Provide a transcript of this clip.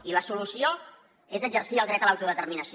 i la solució és exercir el dret a l’autodeterminació